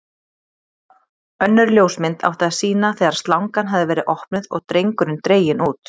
Önnur ljósmynd átti að sýna þegar slangan hafði verið opnuð og drengurinn dreginn út.